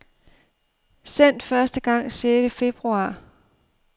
Sendt første gang sjette februar.